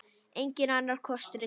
Enginn annar kostur er til.